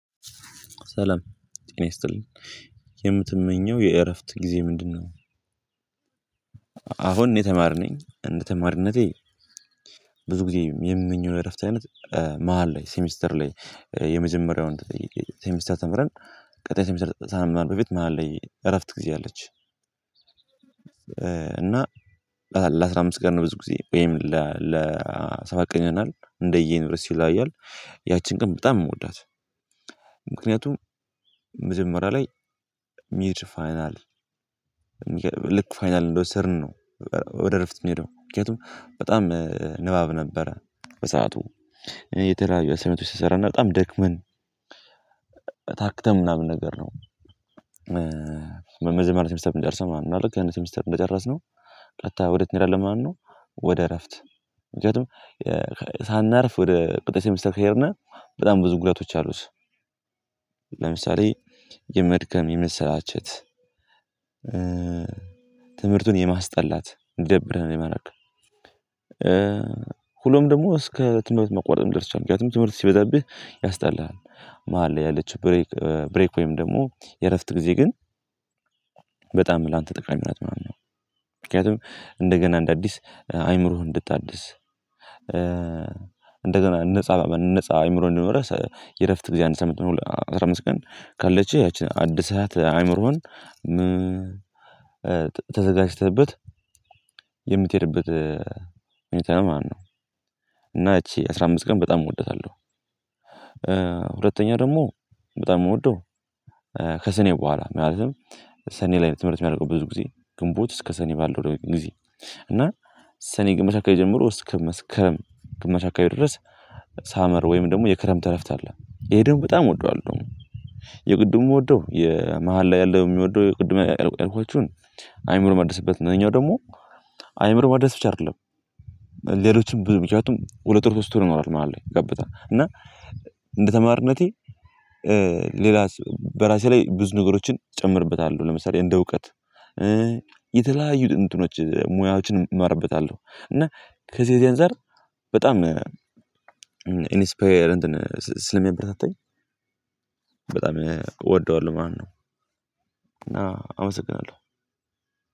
ሰላም ጤና ይስጥልኝ የምትመኘው የእረፍት ጊዜ ምንድነው? አሁን እኔ ተማሪ ነኝ እንደ ተማሪነቴ ብዙ ጊዜ የምመኘው የእረፍት አይነት መሃል ላይ ሴሚስተር ላይ የመጀመሪያውን ሴሚስተር ተምረን ቀጣይ ሴሚስተር ሳንማር በፊት መሃል ላይ እረፍት ጊዜ አለች። እና ለአስራ አምስት ቀን ነው ብዙ ጊዜ ወይም ለሰባት ቀን ይሆናል እንደየዩኒቨርሲቲው ይለያያል። ያቺን ቀን በጣም የምወዳት ምክንያቱም መጀመሪያ ላይ ሚድ ፋይናል ልክ ፋይናል እንደወሰድን ነው ወደ እረፍት የምንሄደው ምክንያቱም በጣም ንባብ ነበረ በሰአቱ እኔ የተለያዩ አሳይመንቶች ስሰራ እና በጣም ደክመን ታክተን ምናምን ነገር ነው። በመጀመሪያ ሴሚስተር ምንጨርሰው ማለት ነው ልክ ያን ሴሚስተር እንደጨረስነው ቀጥታ ወዴት እንሄዳለን ማለት ነው ወደ እረፍት ምክንያቱም ሳናርፍ ወደ ቀጣይ ሴሚስተር ከሄድን በጣም ብዙ ጉዳቶች አሉት። ለምሳሌ የመድከም የመሰላቸት ትምህርቱን የማስጠላት እንዲደብርህ የማረግ ሁኖም ደግሞ እስከ ትምህርት መቋረጥ ሊደርስ ይችላል ምክንያቱም ትምህርት ሲበዛብህ ያስጠላሃል መሃል ላይ ያለችው ብሬክ ብሬክ ወይም ደግሞ የእረፍት ጊዜ ግን በጣም ላንተ ጠቃሚ ናት ምናምን ነው። ምክንያቱም እንደገና እንደ አዲስ አይምሮህን እንድታድስ እንደገና ነፃ ነፃ አይምሮ እንዲኖረህ የእረፍት ግዜ አንድ ሳምንት ይሁን አስራ አምስት ቀን ካለችህ ያቺን አድሰሃት አእምሮህን ተዘጋጅተህበት የምትሄድበት ሁኔታ ነው ማለት ነው እና እቺ አስራ አምስት ቀን በጣም እወዳታለው። ሁለተኛ ደግሞ በጣም የምወደው ከሰኔ በኋላ ማለትም ሰኔ ላይ ትምህርት የሚያልቀው ብዙ ጊዜ ግንቦት እስከ ሰኔ ባለው ጊዜ እና ሰኔ ግማሽ አካባቢ ጀምሮ እስከ መስከረም ግማሽ አካባቢ ድረስ ሳመር ወይም ደግሞ የክረምት እረፍት አለ ይሄ ደሞ በጣም እወደዋለሁ። የቅድሙ ምወደው የመሃል ላይ ያለው የምወደው የቅድሙ ላይ ያልኳችሁን አይምሮ ማደስበት እሄኛው ደግሞ አይምሮ ማደስ ብቻ አይደለም። ሌሎችም ብዙ ምክንያቱም ሁለት ወር ሶስት ወር ይኖራል መሃል ላይ ጋብታ እና እንደተማሪነቴ ሌላ በራሴ ላይ ብዙ ነገሮችን እጨምርበታለሁ ለምሳሌ እንደ እውቀት የተለያዩ እንትኖች ሙያዎችን እማርበታለሁ እና ከዚህ ከዚህ አንፃር በጣም ኢንስፓየር እንትን ስለሚያበረታታኝ በጣም እወደዋለሁ ማለት ነው። እና አመሰግናለሁ።